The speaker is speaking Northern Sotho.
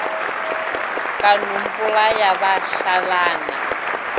ka no mpolaya ba šalana